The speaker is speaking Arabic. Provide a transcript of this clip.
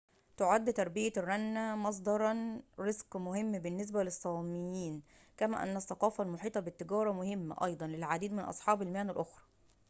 تُعد تربية الرنة مصدر رزق مهم بالنسبة للصاميين كما أن الثقافة المحيطة بالتجارة مهمة أيضاً للعديد من أصحاب المهن الأخرى